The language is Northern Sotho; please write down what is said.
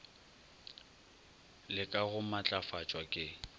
le ka go matlafatšwa ke